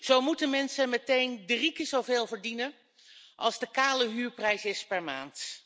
Zo moeten mensen meteen drie keer zoveel verdienen als de kale huurprijs per maand.